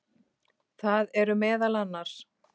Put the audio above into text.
Það eru meðal annars